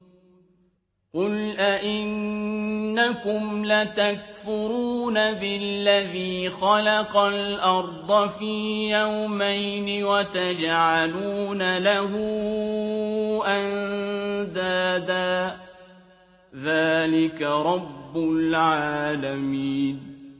۞ قُلْ أَئِنَّكُمْ لَتَكْفُرُونَ بِالَّذِي خَلَقَ الْأَرْضَ فِي يَوْمَيْنِ وَتَجْعَلُونَ لَهُ أَندَادًا ۚ ذَٰلِكَ رَبُّ الْعَالَمِينَ